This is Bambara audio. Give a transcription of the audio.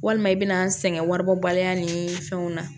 Walima i bɛna n sɛgɛn waribɔ baliya ni fɛnw na